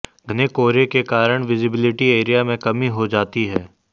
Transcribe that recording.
घने कोहरे के कारण विजिबिलिटी एरिया में कमी हो जाती है